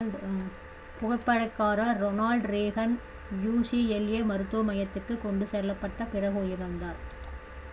புகைப்படக்காரர் Ronald Reagan ucla மருத்துவ மையத்திற்கு கொண்டு செல்லப்பட்ட பிறகு உயிரிழந்தார்